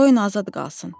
Qoyun azad qalsın.